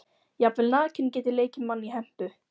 Jafnvel nakinn get ég leikið mann í hempu.